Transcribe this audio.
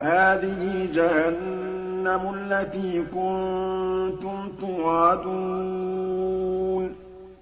هَٰذِهِ جَهَنَّمُ الَّتِي كُنتُمْ تُوعَدُونَ